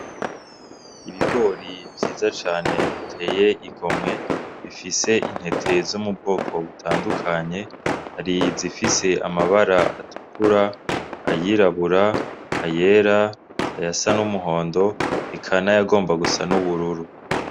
Ibigori vyiza cane biteye igomwe bifise intete zo mu bwoko butandukanye ariyzifise amabara atukura ayirabura ayera ayasa n'umuhondo ikana yagomba gusa n'ubururu.